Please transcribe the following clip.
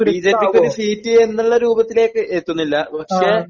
ബിജെപിക്ക് ഒരു സീറ്റ് എന്നുള്ള രൂപത്തിലേക്ക് എത്തുന്നില്ല പക്ഷേ